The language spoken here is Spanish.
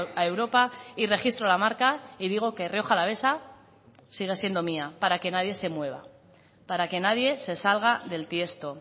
a europa y registro la marca y digo que rioja alavesa sigue siendo mía para que nadie se mueva para que nadie se salga del tiesto